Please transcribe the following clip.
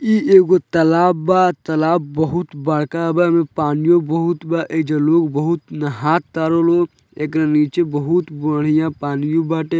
ई एगो तलाब बा तलाब बहुत बड़का बा एमे पानियो बहुत बा एइजा लोग बहुत नहातरन लोग एकरा नीचे बहुत बढ़ियां पानियो बाटे।